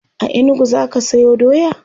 a inugu zaka Sayo doya?